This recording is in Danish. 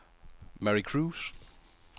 Mary Kruse